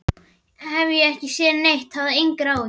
Ég hef ekki séð neitt, hafðu engar áhyggjur.